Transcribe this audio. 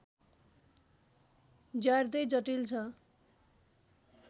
ज्यार्दै जटिल छ